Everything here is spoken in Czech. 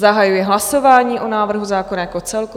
Zahajuji hlasování o návrhu zákona jako celku.